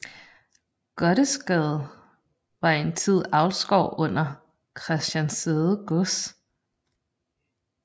Gottesgabe var en tid avlsgård under Christianssæde Gods